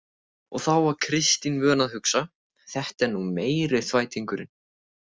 Og þá var Kristín vön að hugsa: Þetta er nú meiri þvættingurinn.